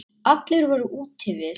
Allir voru úti við.